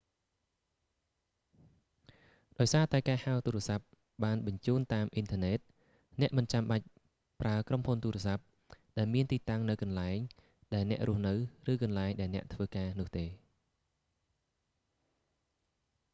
ដោយសារតែការហៅទូរសព្ទបានបញ្ជូនតាមអ៊ីនធឺណិត អ្នកមិនចាំបាច់ប្រើក្រុមហ៊ុនទូរសព្ទ ដែលមានទីតាំងនៅកន្លែង ដែលអ្នករស់នៅ ឬកន្លែងដែលអ្នកធ្វើដំណើរនោះទេ